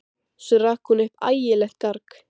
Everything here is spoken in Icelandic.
Svo rak hún upp ægilegt garg.